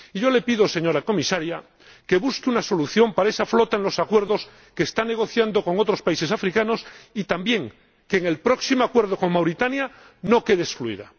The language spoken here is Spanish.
Y yo le pido, señora Comisaria, que busque una solución para esa flota en los acuerdos que está negociando con otros países africanos, y también que en el próximo acuerdo con Mauritania no quede excluida.